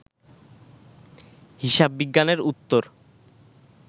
হিসাববিজ্ঞানের উত্তর